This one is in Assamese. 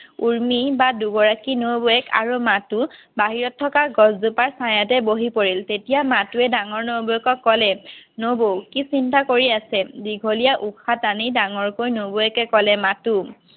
উৰ্মি বা দুগৰাকী নবৌৱেক আৰু মাথো বাহিৰত থকা গছ জোপাৰ ছায়াতে বহি পৰিল তেতিয়া মাথোৱে ডাঙৰ নবৌৱেকক ক'লে নবৌ কি চিন্তা কৰি আছে দীঘলীয়া উশাহ টানি ডাঙৰকৈ নবৌৱেকে ক'লে মাথো